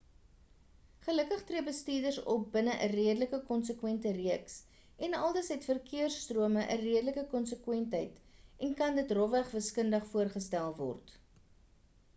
gelukkig tree bestuurders op binne 'n redelike konsekwente reeks en aldus het verkeers-strome 'n redelike konsekwentheid en kan dit rofweg wiskundig voorgestel word